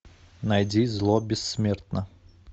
найди зло бессмертно